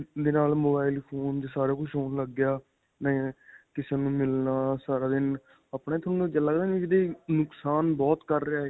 ਦੇ ਨਾਲ mobile phone 'ਚ ਸਾਰਾ ਕੁਝ ਹੋਣ ਲੱਗ ਗਿਆ ਨੇ ਕਿਸੇ ਨੂੰ ਮਿਲਣਾ ਸਾਰਾ ਦਿਨ ਆਪਣਾ ਇਹ ਤੁਹਾਨੂੰ ਲੱਗਦਾ ਨੀ ਨੁਕਸਾਨ ਬਹੁਤ ਕਰ ਰਿਹਾ ਇਹ.